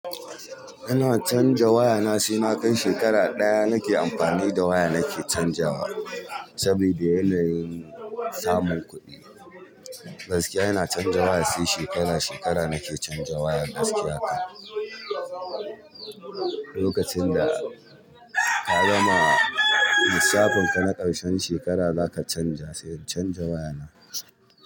Ina canza waya na sai na kai shekara ɗaya nake amfani da waya nake canzawa sabida yanayin samun kuɗi. Gaskiya ina canza waya sai shekara, shekara nake canza waya gaskiya. Lokacin da ka gama lissafin ka na ƙarshen shekara zaka canza, sai canza waya na.